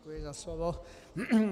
Děkuji za slovo.